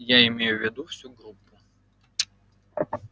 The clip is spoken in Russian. я имею в виду всю группу